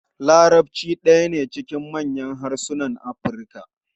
Larabci ɗaya ne cikin manyan harsunan Afirka.